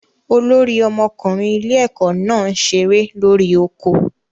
Olórí ọmọkùnrin ilé ẹ̀kọ́ náà ń ṣeré lórí oko